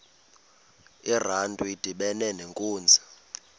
urantu udibana nenkunzi